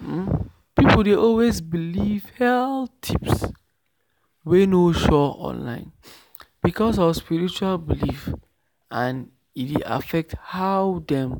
um people dey always believe health tips wey no sure online because of spiritual belief and e dey affect how dem